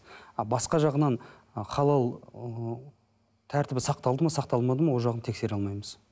ал басқа жағынан халал ы тәртібі сақталды ма сақталмады ма ол жағын тексере алмаймыз